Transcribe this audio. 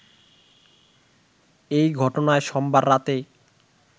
এই ঘটনায় সোমবার রাতে